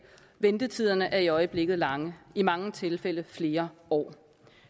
ventetiderne er i øjeblikket lange i mange tilfælde flere år